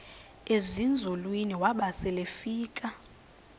ezinzulwini waba selefika